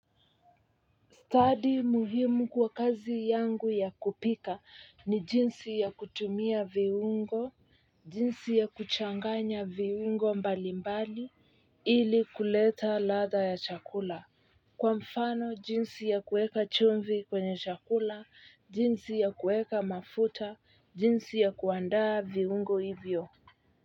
Stadi muhimu kwa kazi yangu ya kupika ni jinsi ya kutumia viungo, jinsi ya kuchanganya viungo mbalimbali ili kuleta ladha ya chakula. Kwa mfano, jinsi ya kuweka chumvi kwenye chakula, jinsi ya kuweka mafuta, jinsi ya kuandaa viungo hivyo.